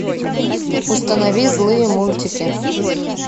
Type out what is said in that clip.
установи злые мультики